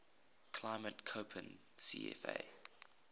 climate koppen cfa